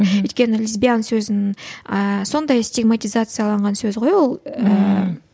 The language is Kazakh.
мхм өйткені лесбиян сөзін ііі сондай стигматизацияланған сөз ғой ол ііі